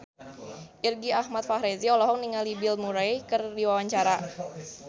Irgi Ahmad Fahrezi olohok ningali Bill Murray keur diwawancara